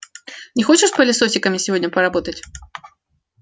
не хочешь пылесосиками сегодня поработать